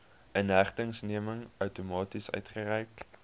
inhegtenisneming outomaties uitgereik